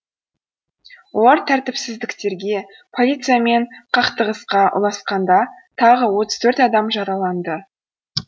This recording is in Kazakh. олар тәртіпсіздіктерге полициямен қақтығысқа ұласқанда тағы отыз төрт адам жараланды